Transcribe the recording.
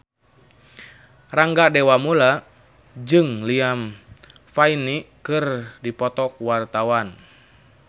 Rangga Dewamoela jeung Liam Payne keur dipoto ku wartawan